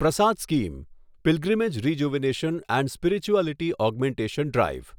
Prasad scheme pilgrimage rejuvenation and spirituality augmentation drive